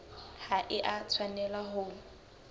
ha e a tshwanela ho